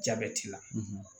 Jabɛti la